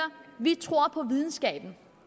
vi tror på videnskaben